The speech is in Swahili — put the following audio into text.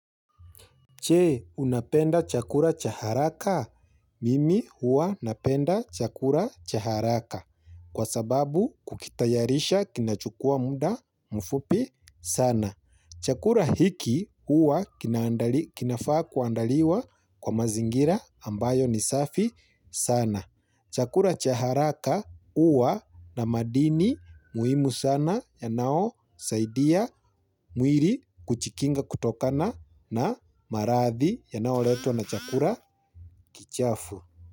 Che, unapenda chakura chaharaka? Mimi huwa napenda chakula cha haraka kwa sababu kukitayarisha kina chukua muda mfupi sana. Chakula hiki huwa kinafaa kuandaliwa kwa mazingira ambayo ni safi sana. Chakula chaharaka huwa na madini muhimu sana ya naosaidia mwili kujikinga kutokana na maradhi ya nao letwa na chakula kichafu.